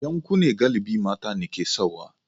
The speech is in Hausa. Yankunne galibi mata ne ke sawa.